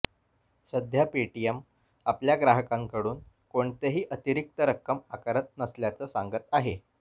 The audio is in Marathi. सध्या पेटीएम आपल्या ग्राहकांकडून कोणतेही अतिरिक्त रक्कम आकारत नसल्याचं सांगत आहे